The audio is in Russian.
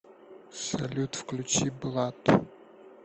салют включи блад